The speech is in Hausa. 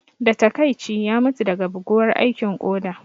Da taƙaici, ya mutu daga bugawar aikin koda